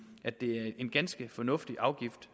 at det er en ganske fornuftig afgift